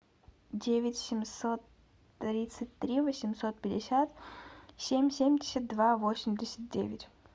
девять семьсот тридцать три восемьсот пятьдесят семь семьдесят два восемьдесят девять